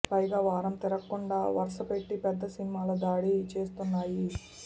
పైగా వారం తిరక్కుండా వరుసపెట్టి పెద్ద సినిమాల దాడి చేస్తున్నాయి